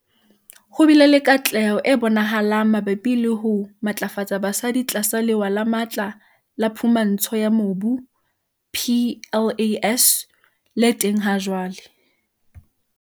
Ho bile le katleho e bonahalang mabapi le ho matlafatsa basadi tlasa Lewa le Matla la Phumantsho ya Mobu, PLAS, le teng hajwale.